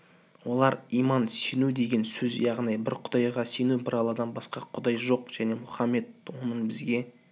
олар иман сену деген сөз яғни бір құдайға сену бір алладан басқа құдай жоқ және мұхаммед оның бізге